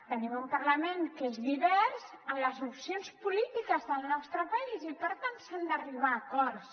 tenim un parlament que és divers amb les opcions polítiques del nostre país i per tant s’ha d’arribar a acords